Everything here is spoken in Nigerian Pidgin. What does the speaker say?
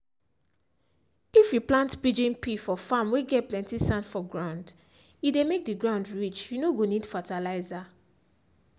if you plant pigeon pea for farm whey get plenty sand for groundhe dey make the ground rich you no go need fertilizer.